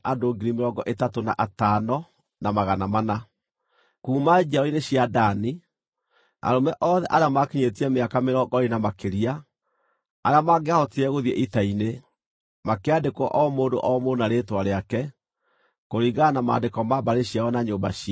Kuuma njiaro-nĩ cia Dani: Arũme othe arĩa maakinyĩtie mĩaka mĩrongo ĩĩrĩ na makĩria, arĩa mangĩahotire gũthiĩ ita-inĩ, makĩandĩkwo o mũndũ o mũndũ na rĩĩtwa rĩake, kũringana na maandĩko ma mbarĩ ciao na nyũmba ciao.